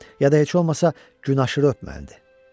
Ya da heç olmasa gün aşırı öpməliydi.